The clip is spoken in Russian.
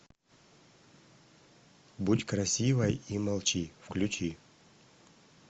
будь красивой и молчи включи